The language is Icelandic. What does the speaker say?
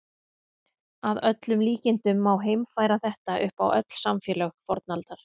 Að öllum líkindum má heimfæra þetta upp á öll samfélög fornaldar.